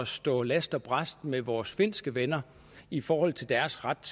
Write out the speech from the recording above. stå last og brast med vores finske venner i forhold til deres ret